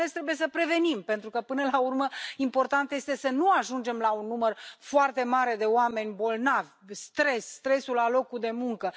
Mai ales, trebuie să prevenim, pentru că, până la urmă, important este să nu ajungem la un număr foarte mare de oameni bolnavi de stres, de stresul la locul de muncă.